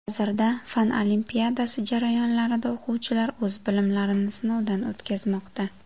Hozirda fan olimpiadasi jarayonlarida o‘quvchilar o‘z bilimlarini sinovdan o‘tkazmoqda.